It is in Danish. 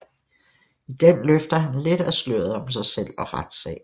I den løfter han lidt af sløret om sig selv og retssagen